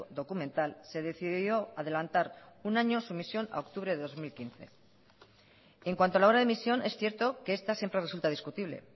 documental se decidió adelantar un año su emisión a octubre de dos mil quince en cuanto a la hora de emisión es cierto que esta siempre resulta discutible